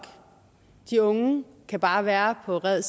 de unge kan bare være på red